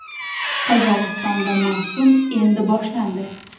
Qozog‘istonda mavsum endi boshlandi.